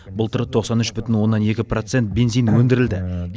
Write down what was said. былтыр тоқсан үш бүтін оннан екі процент бензин өндірілді